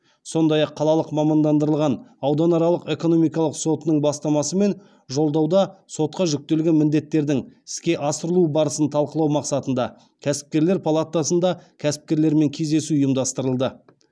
сондай ақ қалалық мамандандырылған ауданаралық экономикалық сотының бастамасымен жолдауда сотқа жүктелген міндеттердің іске асырылу барысын талқылау мақсатында кәсіпкерлер палатасында кәсіпкерлермен кездесу ұйымдастырылды